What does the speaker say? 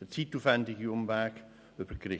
den zeitaufwendigen Umweg über die Gerichte.